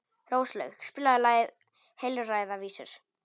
Róslaug, spilaðu lagið „Heilræðavísur“.